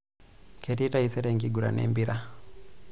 Ketii taisere enkiguran empira.